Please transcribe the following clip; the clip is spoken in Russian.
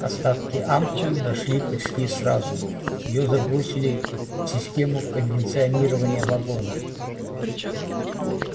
остатки ампулы нашли почти сразу её забросили в систему кондиционирования вагона